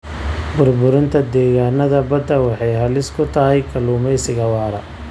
Burburinta degaannada badda waxay halis ku tahay kalluumeysiga waara.